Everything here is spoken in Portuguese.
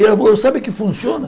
E ela falou, sabe que funciona?